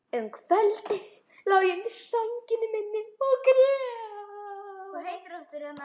Um kvöldið lá ég undir sænginni minni og grét.